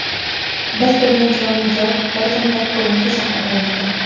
Biz turgan chiroyli joy bir zumda ko‘lanka shaharga aylandi.